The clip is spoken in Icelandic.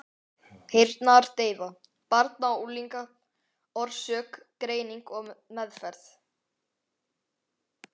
Heyrnardeyfa barna og unglinga, orsök, greining og meðferð.